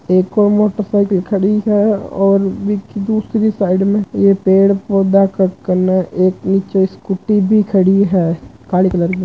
एक और motorcycle खड़ी है और इस दूसरी साइड ये पेड़-पौधा एक नीचे स्कूटी भी खड़ी है व्हाइट कलर की --